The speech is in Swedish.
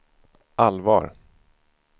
allvar